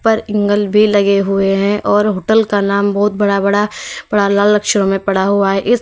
ऊपर एंगल भी लगे हुए हैं और होटल का नाम बहुत बड़ा बड़ा पूरा लाल अक्षरों में पड़ा हुआ है।